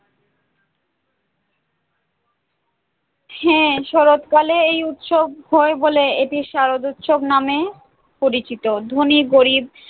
হ্যাঁ শরৎকালে এই উৎসব হয় বলে এটি শারদোৎসব নামেও পরিচিত, ধনী গরীব